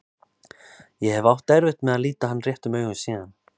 Ég hef átt erfitt með að líta hann réttum augum síðan.